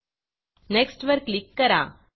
next वर click करा